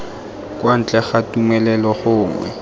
kwa ntle ga tumelelo gongwe